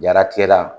Jaratigɛla